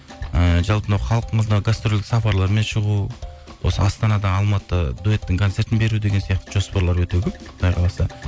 ііі жалпы мынау халқымызға гастрольдік сапарлармен шығу осы астанадан алматы дуэттің концертін беру деген сияқты жоспарлар өте көп құдай қаласа